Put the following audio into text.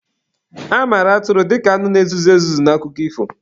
A mara atụrụ dika anụ na-ezuzu ezuzu n'akụkọ ifo.